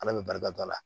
Ala bɛ barika da la